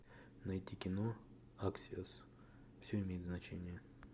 найти кино аксиос все имеет значение